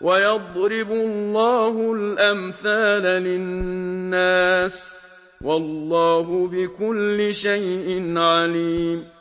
وَيَضْرِبُ اللَّهُ الْأَمْثَالَ لِلنَّاسِ ۗ وَاللَّهُ بِكُلِّ شَيْءٍ عَلِيمٌ